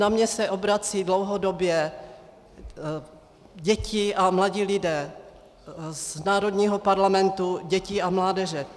Na mě se obracejí dlouhodobě děti a mladí lidé z Národního parlamentu dětí a mládeže.